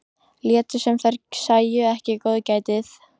Létu sem þær sæju ekki góðgætið.